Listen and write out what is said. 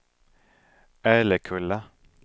Älekulla